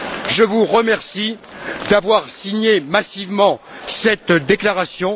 Je vous remercie d'avoir signé massivement cette déclaration.